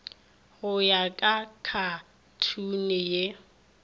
go ya ka khathuni ye